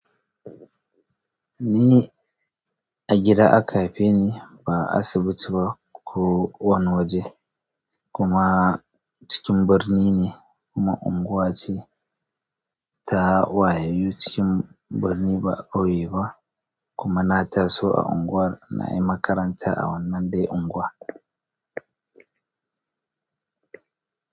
Ni a gida aka haife ni ba a asibiti ba ko wani waje. Kuma cikin birni ne kuma unguwanci ta wayayyu cikin birni ba a ƙauye ba, kuma na taso a unguwar na yi makaranta a wannan dai unguwar.